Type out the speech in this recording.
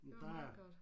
Det var meget godt